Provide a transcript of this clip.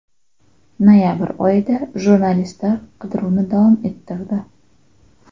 Noyabr oyida jurnalistlar qidiruvni davom ettirdi.